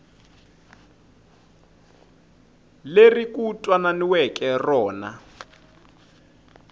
leri ku twananiweke na rona